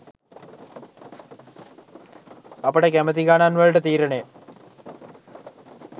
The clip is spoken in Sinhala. අපට කැමැති ගණන් වලට තීරණය